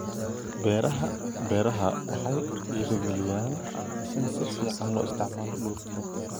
Beeraha Beeraha waxa ay dhiiri galiyaan in si fiican loo isticmaalo dhulka.